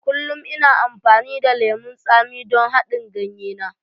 Kullum ina amfani da lemon tsami don haɗin ganye na.